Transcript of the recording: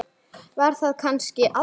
Var þar kannski aldrei?